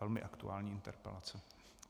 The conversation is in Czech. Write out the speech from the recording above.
Velmi aktuální interpelace.